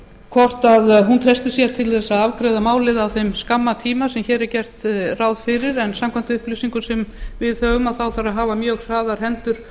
hvort hún treystir sér til að afgreiða það á þeim skamma tíma sem hér er gert ráð fyrir en samkvæmt upplýsingum sem við höfum þarf að hafa mjög hraðar hendur